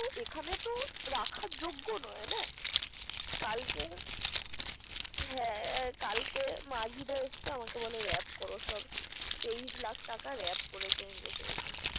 ওখান তা রাখার যোগ্য নয় না। কালকে মার্জিদা আসছে। আমাকে বলে র‌্যাপ কর সব। তেইশ লাখ র‌্যাপ করছে এই বছরে সহ।